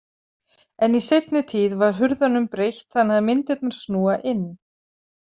En í seinni tíð var hurðunum breytt þannig að myndirnar snúa inn.